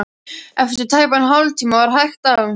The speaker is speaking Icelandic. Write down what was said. Eftir tæpan hálftíma var hægt á.